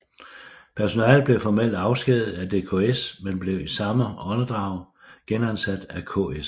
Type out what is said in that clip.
Personalet blev formelt afskediget af DKS men blev i samme åndedrag genansat af KS